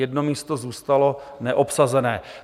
Jedno místo zůstalo neobsazené.